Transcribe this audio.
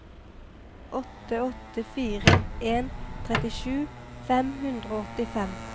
åtte åtte fire en trettisju fem hundre og åttifem